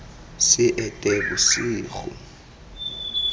seetebosego